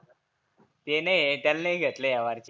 ते नाहीए त्याला नाही घेतलं ह्या बारचीनी